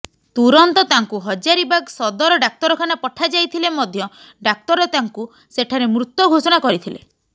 ତୁରନ୍ତ ତାଙ୍କୁ ହଜାରିବାଗ୍ ସଦର ଡାକ୍ତରଖାନା ପଠାଯାଇଥିଲେ ମଧ୍ୟ ଡାକ୍ତର ତାଙ୍କୁ ସେଠାରେ ମୃତ ଘୋଷଣା କରିଥିଲେ